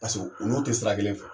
Paseko o n'o te sira kelen fɛ